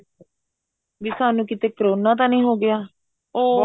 B ਸਾਨੂੰ ਕੀਤੇ corona ਤਾਂ ਨਹੀਂ ਹੋ ਗਿਆ ਉਹ